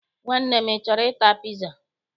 Nwanne m, ị chọrọ ịta piza?